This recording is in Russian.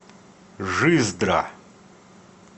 жиздра